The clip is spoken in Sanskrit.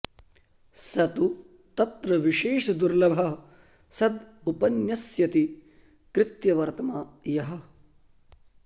स तु तत्र विशेषदुर्लभः सद् उपन्यस्यति कृत्यवर्त्म यः